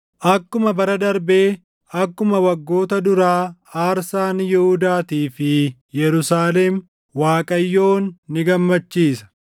akkuma bara darbee, akkuma waggoota duraa aarsaan Yihuudaatii fi Yerusaalem Waaqayyoon ni gammachiisa.